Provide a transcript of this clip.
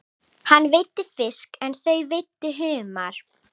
Hann veiddi fisk en þau veiddu humar.